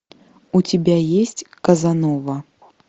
у тебя есть казанова